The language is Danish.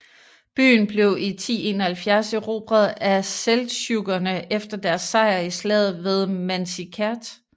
Byen blev i 1071 erobret af seldsjukkerne efter deres sejr i slaget ved Manzikert